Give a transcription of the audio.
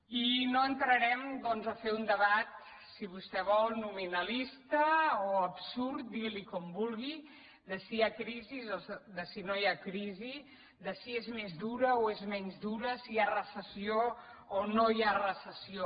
i no en·trarem doncs a fer un debat si vostè vol nominalista o absurd digui’n com vulgui de si hi ha crisi o de si no hi ha crisi de si és més dura o és menys dura si hi ha recessió o no hi ha recessió